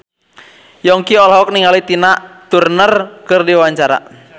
Yongki olohok ningali Tina Turner keur diwawancara